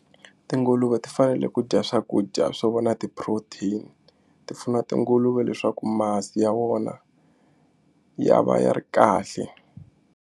Tinguluve ti fanele ku dya swakudya swo vo na ti-protein ti pfuna tinguluve leswaku masi ya wona ya va ya ri kahle.